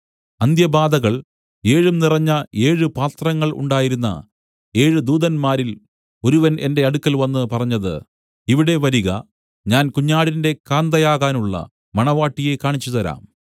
അന്ത്യബാധകൾ ഏഴും നിറഞ്ഞ ഏഴ് പാത്രങ്ങൾ ഉണ്ടായിരുന്ന ഏഴ് ദൂതന്മാരിൽ ഒരുവൻ എന്റെ അടുക്കൽ വന്നു പറഞ്ഞത് ഇവിടെ വരിക ഞാൻ കുഞ്ഞാടിന്റെ കാന്തയാകുവാനുള്ള മണവാട്ടിയെ കാണിച്ചുതരാം